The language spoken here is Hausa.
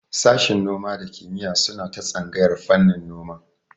Sashin noma da kiyima suna tsangayar fannin noma